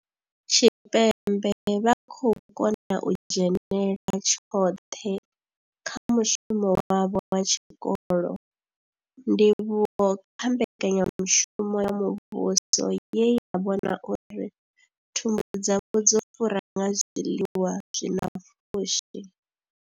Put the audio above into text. Tshipembe vha khou konḓa u dzhenela tshoṱhe kha mushumo wavho wa tshikolo, ndivhuwo kha mbekanya mushumo ya muvhuso ye ya vhona uri thumbu dzavho dzo fura nga zwiḽiwa zwi na pfushi.